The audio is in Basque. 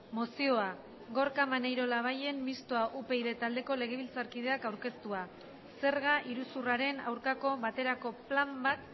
mozioa gorka maneiro labayen mistoa upyd taldeko legebiltzarkideak aurkeztua zerga iruzurraren aurkako baterako plan bat